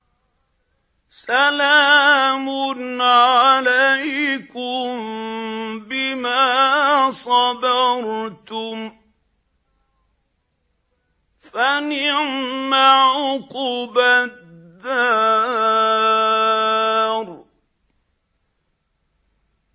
سَلَامٌ عَلَيْكُم بِمَا صَبَرْتُمْ ۚ فَنِعْمَ عُقْبَى الدَّارِ